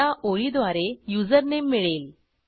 या ओळीद्वारे युजरनेम मिळेल